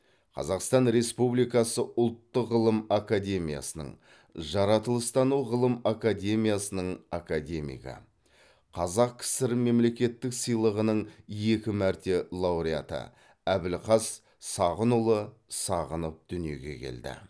қазақстан республикасы ұлттық ғылым академиясының жаратылыстану ғылым академиясының академигі қазақ кср мемлекеттік сыйлығының екі мәрте лауреаты әбілқас сағынұлы сағынов дүниеге келді